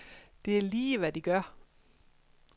Det er lige, hvad de gør.